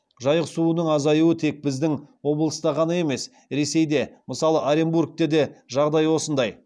жайық суының азаюы тек біздің облыста ғана емес ресейде мысалы оренбургте де жағдай осындай